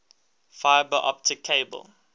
fiber optic cable